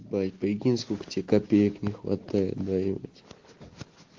блять прикинь сколько тебе копеек не хватает да ебать